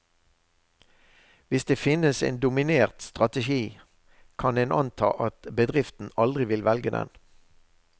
Hvis det finnes en dominert strategi, kan en anta at bedriften aldri vil velge den.